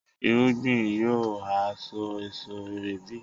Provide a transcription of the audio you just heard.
irúgbìn yóò ha so èso rere bí?